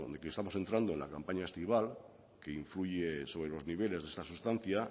que estamos entrando en la campaña estival que influye sobre los niveles de esta sustancia